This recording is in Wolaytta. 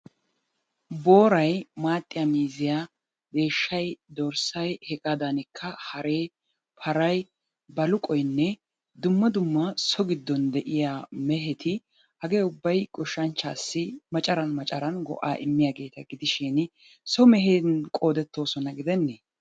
Booray, maxiyaa miizziya, deeshshay, dorssay, hegaadankka haree, paray, baluqqoynne dumma dumma so giddon de'iya meheti hagee ubbay goshshanchchaassi maccarn maccaran go'aa immiyaageeta gidishin so mehetun qoodettosona gidene?